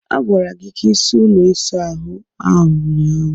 A gwara gị ka ị saa ụlọ ịsa ahu ahụ ụnyaahụ.